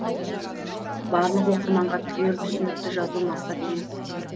барлық оқырманға түгел түсінікті жазу мақсат емес